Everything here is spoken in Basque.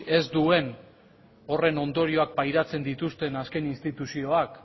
ez duen horren ondorioak pairatzen dituzten azken instituzioak